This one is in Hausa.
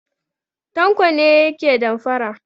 Tanko ne yake damfara.